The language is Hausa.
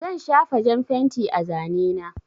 Zan shafa jan fenti a zane na.